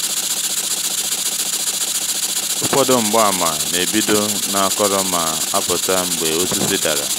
ụfọdụ mgbaàmà na-ebido n’akọrọ ma apụta mgbe osisi dara.